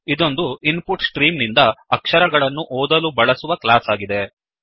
ಇದೊಂದು input stream ನಿಂದ ಅಕ್ಷರಗಳನ್ನು ಓದಲು ಬಳಸುವ ಕ್ಲಾಸ್ ಆಗಿದೆ